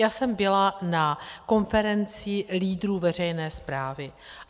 Já jsem byla na konferenci lídrů veřejné správy.